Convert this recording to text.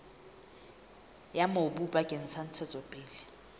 ya mobu bakeng sa ntshetsopele